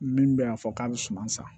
Min bɛ a fɔ k'a bɛ suman san